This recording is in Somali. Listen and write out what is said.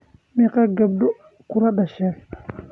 Meqoo gabdod kuladashen?